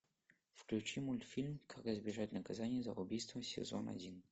включи мультфильм как избежать наказания за убийство сезон один